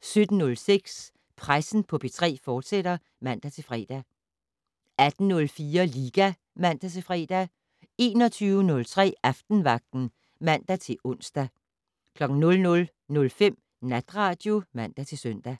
17:06: Pressen på P3, fortsat (man-fre) 18:04: Liga (man-fre) 21:03: Aftenvagten (man-ons) 00:05: Natradio (man-søn)